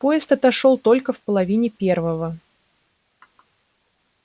поезд отошёл только в половине первого